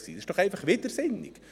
Dies ist doch einfach widersinnig.